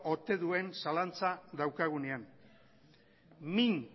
ote duen zalantza daukagunean min